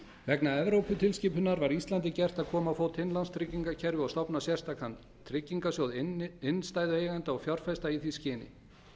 vegna evróputilskipunar var íslandi gert að koma á fót innlánstryggingakerfi og stofna sérstakan tryggingasjóð innstæðueigenda og fjárfesta í því skyn